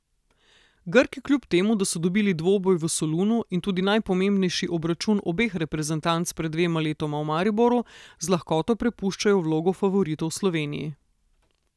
Grki kljub temu, da so dobili dvoboj v Solunu in tudi najpomembnejši obračun obeh reprezentanc pred dvema letoma v Mariboru, z lahkoto prepuščajo vlogo favoritov Sloveniji.